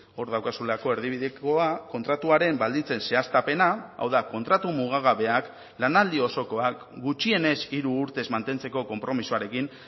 hor daukazulako erdibidekoa kontratuaren baldintzen zehaztapena hau da kontratu mugagabeak lanaldi osokoak gutxienez hiru urtez mantentzeko konpromisoarekin